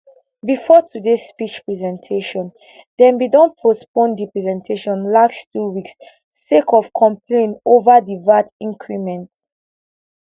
bifor today speech presentation dem bin don postpone di presentation last two weeks sake of complain ova di vat increment